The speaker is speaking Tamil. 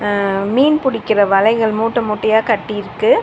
அ மீன் புடிக்கிற வலைகள் மூட்ட மூட்டையா கட்டி இருக்கு.